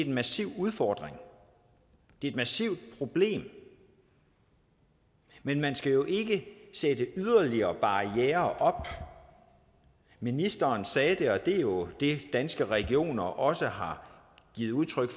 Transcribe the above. en massiv udfordring det er et massivt problem men man skal jo ikke sætte yderligere barrierer op ministeren sagde det og det er jo det danske regioner også har givet udtryk